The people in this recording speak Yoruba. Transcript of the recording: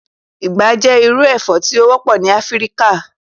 Igba jẹ iru ẹfọ ti o wọpọ ni Afirika